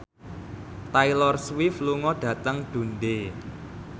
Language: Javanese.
Taylor Swift lunga dhateng Dundee